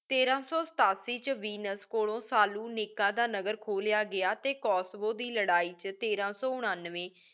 ਤੇਰਾਂ ਸੋ ਸਤਾਸੀ ਵਿਚ ਵੇਨੁਸ ਕੋਲੋ ਸਲੋਨਿਕਾ ਦਾ ਨਗਰ ਖੋ ਲਿਯਾ ਗਯਾ ਟੀ ਕੋਸਵੋ ਦੇ ਲੜਾਈ ਵਿਚ ਤੇਰਾ ਸੋ ਉਨੱਨਵੇਂ